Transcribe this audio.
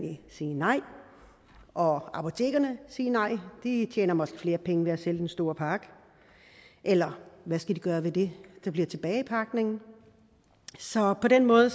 sige nej og apotekerne sige nej de tjener måske flere penge ved at sælge den store pakke eller hvad skal de gøre ved det der bliver tilbage i pakningen så på den måde